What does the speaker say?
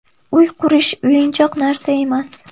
Uy qurish o‘yinchoq narsa emas.